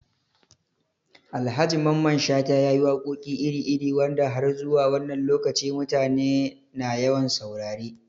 Alhaji Mamman Shata ya yi waƙoƙi iri-iri wanda har zuwa wannan lokaci mutane na yawan saurare